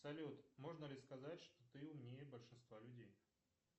салют можно ли сказать что ты умнее большинства людей